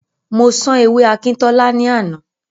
Mo sán ewé Akíntọ́lá ní àná.